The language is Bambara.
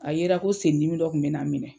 A yera ko sen dimi dɔ kun be na n minɛ.